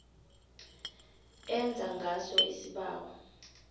enza ngaso isibawo